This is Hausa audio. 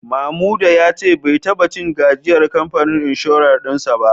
Mamuda ya ce bai taba cin gajiyar kamfanin inshorar din sa ba